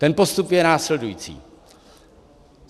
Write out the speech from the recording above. Ten postup je následující.